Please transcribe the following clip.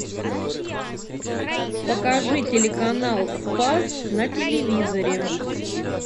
покажи телеканал спас на телевизоре